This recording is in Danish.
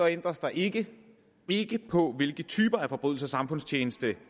ændres der ikke ikke på hvilke typer af forbrydelser samfundstjeneste